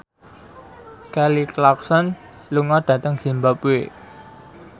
Kelly Clarkson lunga dhateng zimbabwe